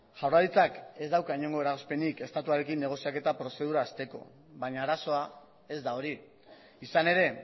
jaurlaritzak ez dauka inongo eragozpenik estatuarekin negoziaketa prozedura hasteko baina arazoa ez da hori izan ere